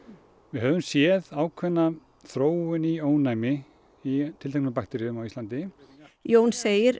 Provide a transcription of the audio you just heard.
við höfum séð ákveðna þróun í ónæmi í tilteknum bakteríum á Íslandi Jón segir